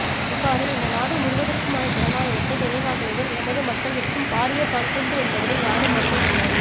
இவ்வாறு இந்த நாடு முழுவதற்குமான ஜனநாயகத்தை நிலைநாட்டியதில் எமது மக்களிற்கும் பாரிய பங்குண்டு என்பதனை யாரும் மறுக்க முடியாது